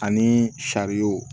Ani sariyaw